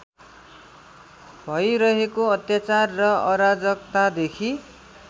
भैरहेको अत्याचार र अराजकतादेखि